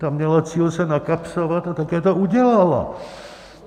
Ta měla cíl se nakapsovat - a také to udělala.